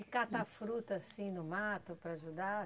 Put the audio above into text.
E cata a fruta assim no mato para ajudar?